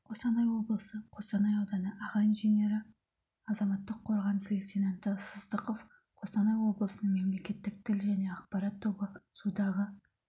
қостанай облысы қостанайауданы ағаинженері азаматтық қорғаныс лейтенанты сыздықова қостанай облысының мемлекеттік тіл және ақпарат тобы судағы